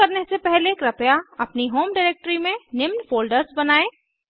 शुरू करने से पहले कृपया अपनी होम डायरेक्टरी में निम्न फ़ोल्डर्स बनायें